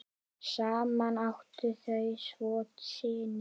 Saman áttu þau tvo syni.